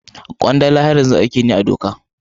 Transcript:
Kwandala har yanzu aiki ne na doka.